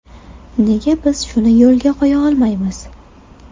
Nega biz shuni yo‘lga qo‘ya olmaymiz?